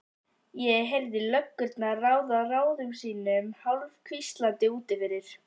Ég heyrði löggurnar ráða ráðum sínum hálfhvíslandi úti fyrir.